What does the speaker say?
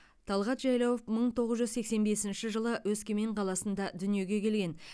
талғат жайлауов мың тоғыз жүз сексен бесінші жылы өскемен қаласында дүниеге келген